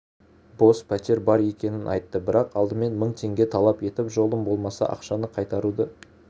бос пәтер бар екенін айтты бірақ алдымен мың теңге талап етіп жолым болмаса ақшаны қайтаруды